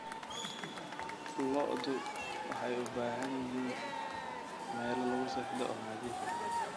Lo'du waxay u baahan yihiin meelo lagu seexdo oo nadiif ah.